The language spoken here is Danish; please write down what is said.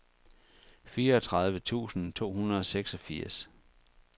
fireogtredive tusind to hundrede og seksogfirs